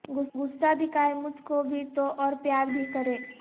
غصہ دکھائے مجھ کو بھی تو اور پیار بھی کرے